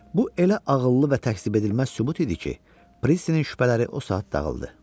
Bu elə ağıllı və təkzibedilməz sübut idi ki, Prissinin şübhələri o saat dağıldı.